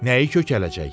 Nəyi kökələcək?